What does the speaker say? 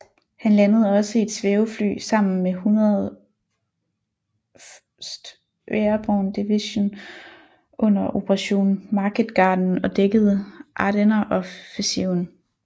Han landede også i et svævefly sammen med 101st Airborne Division under Operation Market Garden og dækkede Ardenneroffensiven